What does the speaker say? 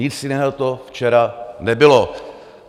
Nic jiného to včera nebylo.